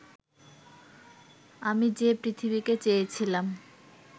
আমি যে পৃথিবীকে চেয়েছিলাম